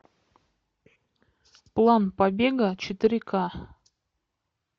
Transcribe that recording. план побега четыре ка